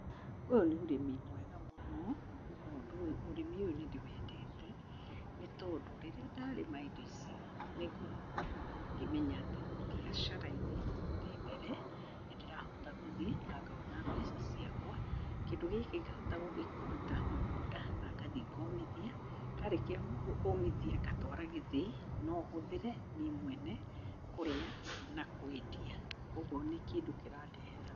Ũyũ nĩ ũrĩmi mwega mũno, nĩ tondũ, rĩrĩa ndarĩma indo ici, nĩngoragwo ngĩmenya atĩ mbiacara-inĩ, ndĩmbere, nĩndĩrahota gũthiĩ na ngona mbeca ciakwa. Kindũ gĩkĩ ngahota gũkĩruta mũgũnda na ngathiĩ ngomithia. Ndarĩkia kũmithia ngatwara gĩthĩi, nohũthĩre niĩ mwena kũrĩa na kwendia. Kogwo nĩ kĩndũ kĩrandehera...